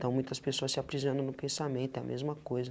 então muitas pessoas se aprisionam no pensamento, é a mesma coisa.